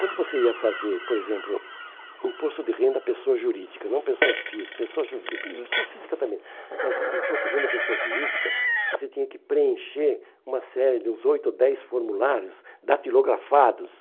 Quando você ia fazer, por exemplo, imposto de renda à pessoa jurídica, não pessoa física, pessoa jurídica, pessoa física também, mas imposto de renda à pessoa jurídica, você tinha que preencher uma série de uns oito ou dez formulários datilografados.